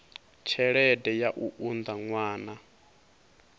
tshelede ya u unḓa ṅwana